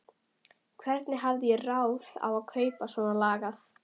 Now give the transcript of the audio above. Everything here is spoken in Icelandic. Hvernig hafði ég ráð á að kaupa svonalagað?